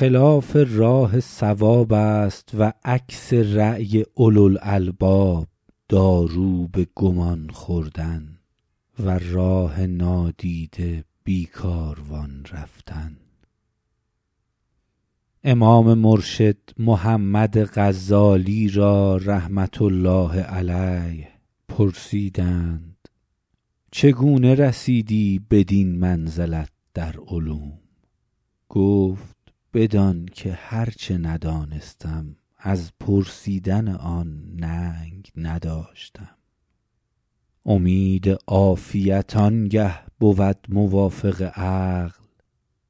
خلاف راه صواب است و عکس رای اولوالالباب دارو به گمان خوردن و راه نادیده بی کاروان رفتن امام مرشد محمد غزالی را رحمة الله علیه پرسیدند چگونه رسیدی بدین منزلت در علوم گفت بدان که هر چه ندانستم از پرسیدن آن ننگ نداشتم امید عافیت آن گه بود موافق عقل